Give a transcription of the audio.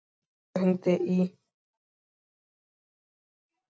Ísólfur, hringdu í Irlaug.